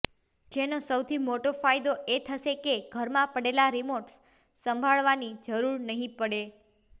જેનો સૌથી મોટો ફાયદો એ થશે કે ઘરમાં પડેલા રિમોટ્સ સંભાળવાની જરુર નહીં પડે